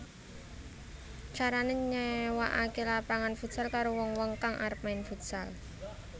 Carané nyéwakaké lapangan futsal karo wong wong kang arep main futsal